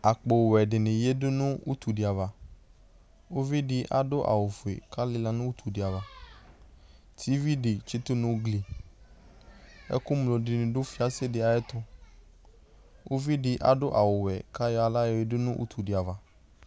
akpo wɛ dini yɛdʋ nʋ ʋtʋ di aɣa ʋvi di adʋ awʋ fʋɛ kalila nʋ ʋtʋ di aɣa TV di tsitʋ nʋ gli nʋ fiasɛ di ayɛtʋ ʋvi di adʋ awʋ wɛ ka ayɔ ala yɔ yɛdʋ nʋ ʋtʋ di aɣa